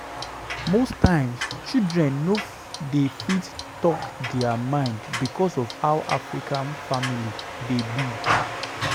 Most times children no dey fit talk their mind because of how African families dey be